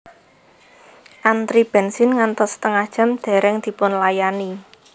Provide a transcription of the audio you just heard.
Antri bensin ngantos setengah jam dereng dipunlayani